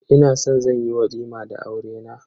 Ina san zan yi walima da aurena.